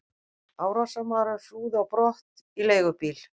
Árásarmaðurinn flúði á brott í leigubíl.